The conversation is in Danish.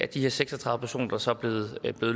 de her seks og tredive personer der så er blevet